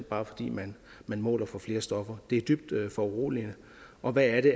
bare fordi man måler for flere stoffer det er dybt foruroligende og hvad er det